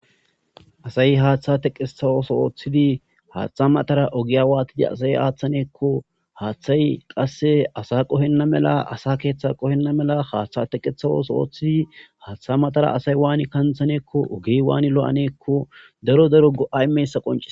asayi haaththa teqesawoso oooththidi haaththa matara ogiya waatidi asay aaththaneekko haaththay qasse asa qohenna mela asa keeththe qohenna mela haaththa teqeawooso oooththidi haaththa matara asay waani kanthaneekko oge waani lo7aneekko daro daro go7ay meyssa qonce